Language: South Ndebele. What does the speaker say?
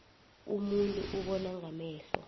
umuntu ubona ngamehlo